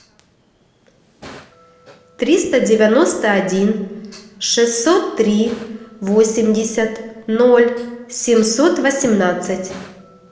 триста девяносто один шестьсот три восемьдесят ноль семьсот восемнадцать